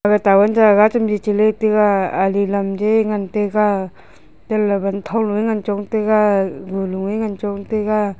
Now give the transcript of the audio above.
aga town jaga chemji cheli taiga ali lamje ngan taiga tele wanthong loe chong taiga wuloe ngan chong taiga.